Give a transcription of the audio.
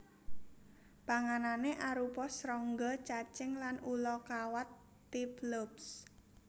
Panganané arupa srangga cacing lan ula kawat Typhlops